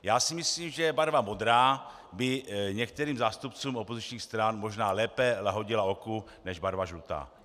Já si myslím, že barva modrá by některým zástupcům opozičních stran možná lépe lahodila oku než barva žlutá.